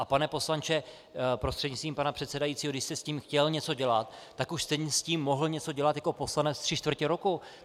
A pane poslanče, prostřednictvím pana předsedajícího, když jste s tím chtěl něco dělat, tak už jste s tím mohl něco dělat jako poslanec tři čtvrtě roku!